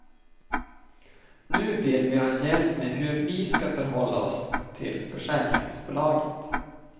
Nu vill vi ha hjälp med hur vi ska förhålla oss till försäkringsbolaget.